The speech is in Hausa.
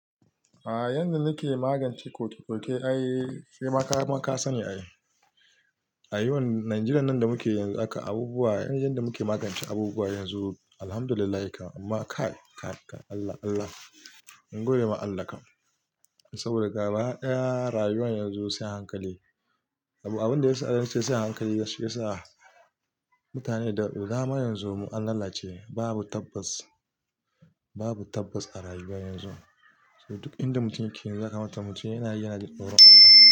A yanda nake magance koke-koke ai sai maka-maka sani a yi. A yawan Nijeriya nan da muke yanzu aka abubuwa, yanda muke magance abubuwa yanzu Alhamdulillah kam, amma kai, kai, Allah, Allah, mun gode ma Allah kam. Saboda gaba ɗaya rayuwan yanzu sai hankali. Abun da ya sa nace sai hankali ba shi ya sa mutane da dama. Yanzu mu an lalace. Babu tabbas, babu tabbas a rayuwa yanzu. Duk inda mutum yake yanzu ya kamata mutum yana yi najin tsoron Allah.